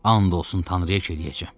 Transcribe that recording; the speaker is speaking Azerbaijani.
And olsun Tanrıya ki eləyəcəm.